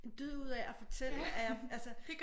En dyd ud af at fortælle at jeg altså